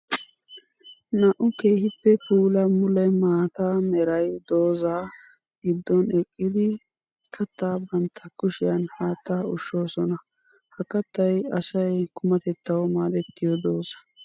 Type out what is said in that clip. Naa'u keehippe puula mule maata meray dooza gidon eqqiddi katta bantta kushiyan haatta ushshosonna. Ha kattay asay qumatettawu maadetiyo dooza.